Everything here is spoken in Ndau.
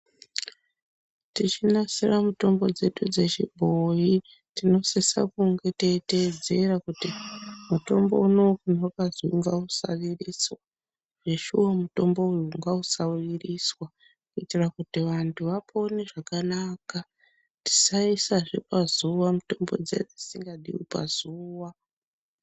Techinasira mitombo dzedu dzechibhoyi tinosisa kunge teitedzera kuti mutombo unowu wakazi ngausavirisa zveshuwa mutombo uyu ngausaviriswa kuitira kuti vanthu vapone zvakanaka tisaisazve pazuwa mutombo dziya dzisingadi pazuwa.